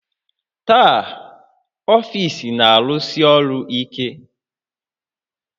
Taa, ọfiisi na-arụsi ọrụ ike